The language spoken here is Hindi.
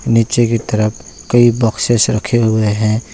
नीचे की तरफ कई बॉक्सेस रखे हुए हैं।